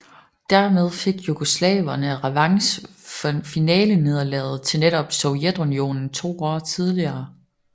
Dermed fik jugoslaverne revanche for finalenederlaget til netop Sovjetunionen to år tidligere